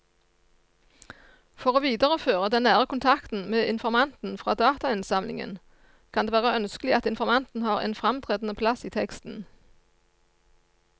For å videreføre den nære kontakten med informanten fra datainnsamlingen kan det være ønskelig at informanten har en fremtredende plass i teksten.